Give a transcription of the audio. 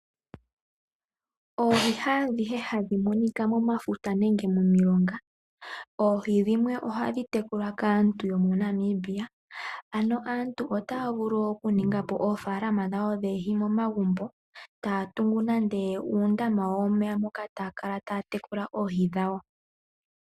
Oohi haadhihe hadhi monika momafuta nenge momilonga, oohi dhimwe ohadhi tekulwa kaantu yomoNamibia ano aantu otaya vulu okuninga po oofaalama dhawo dhoohi momagumbo, taya tungu nande uundama wawo womeya moka taya kala taya tekulile oohi dhawo.